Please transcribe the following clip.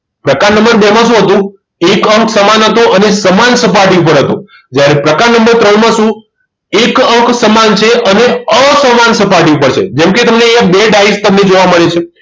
પ્રકાર નંબર બે માં શું હતું એક અંક સમાન હતો અને સમાન સપાટી પર હતો જ્યારે પ્રકરણ નંબર ત્રણ માં શું એક અંક સમાન છે અને અસમાન સપાટી પર છે જેમકે તમને અહી બે ડાઈસ જોવા મળે છે